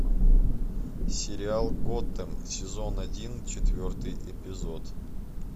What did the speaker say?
сериал готэм сезон один четвертый эпизод